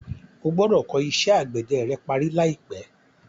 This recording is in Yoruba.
O gbọ́dọ̀ kọ́ iṣẹ́ àgbẹ̀dẹ rẹ parí láìpẹ́.